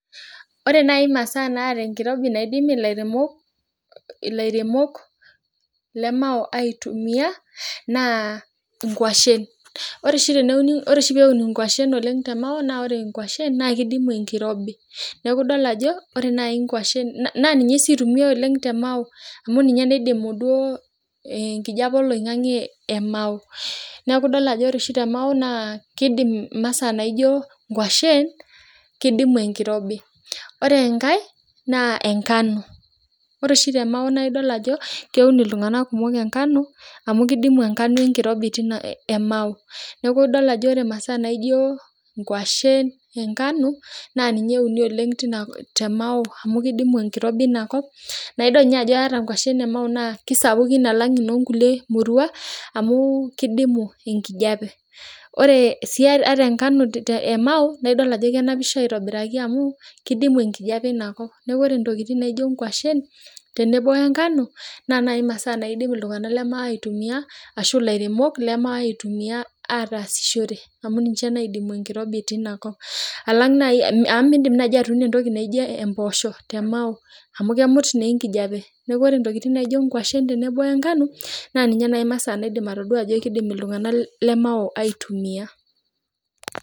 Ore nai masaa naata enkirobi naidim ilairemok ilairemok lemao aitumia, naa inkwashen. Ore oshi peun inkwashen oleng te Mao na ore inkwashen na kidimu enkirobi. Neeku idol ajo ore nai nkwashen na ninye si itumiai oleng te Mao. Amu ninye naidimu duo enkijape oloing'ang'e e Mao. Neeku idol ajo ore oshi te Mao naa kidim imasaa naijo nkwashen, kidimu enkirobi. Ore enkae, naa enkanu. Ore oshi te Mao naa idol ajo keun iltung'anak kumok enkanu, amu kidimu enkanu enkirobi tina e Mao. Neeku idol ajo ore masaa naijo nkwashen, enkanu, naa ninye euni oleng te Mao, amu kidimu enkirobi inakop, na idol nye ajo ore nkwashen e Mao naa kisapukin alang nonkulie murua, amu kidimu enkijape. Ore si ata nkanu e Mao, na idol ajo kenapisho aitobiraki amu, kidimu enkijape inakop. Ore ntokiting naijo nkwashen, tenebo enkanu, na masaa naidim iltung'anak le Mao aitumia, ashu ilairemok le Mao aitumia ataasishore amu ninche naidimu enkirobi tinakop. Alang nai amu midim nai atuuno entoki nijo empoosho te Mao. Amu kemut neenkijape. Neeku ore ntokiting naijo nkwashen tenebo wenkanu, na ninye nai masaa naidim atodua ajo kidim iltung'anak le Mao aitumia.